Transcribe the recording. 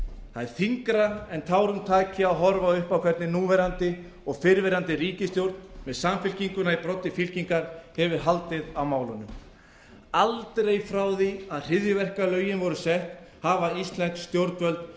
það er þyngra en tárum taki að horfa upp á hvernig núverandi og fyrrverandi ríkisstjórn með samfylkinguna í broddi fylkingar hefur haldið á málunum aldrei frá því að hryðjuverkalögin voru sett hafa íslensk stjórnvöld